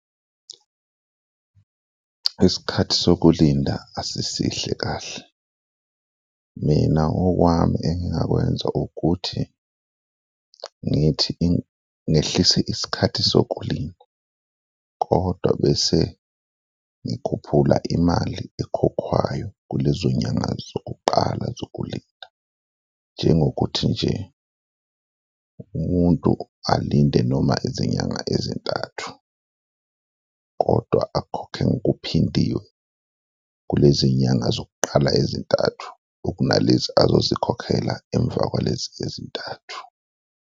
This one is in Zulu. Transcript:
Isikhathi sokulinda asisihle kahle, mina okwami engingakwenza ukuthi ngithi, ngehlise isikhathi sokulinda kodwa bese ngikhuphula imali ekhokhwayo kulezo zinyanga zokuqala zokulinda, njengokuthi nje umuntu alinde noma izinyanga ezintathu kodwa akhokhe ngokuphindiwe kulezi zinyanga zokuqala ezintathu okunalezi azozikhokhela emva kwalezi ezintathu.